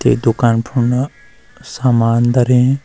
ते दूकान फुण्डा सामान धरीं।